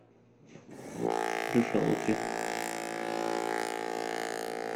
решала три